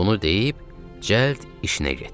Bunu deyib cəld işinə getdi.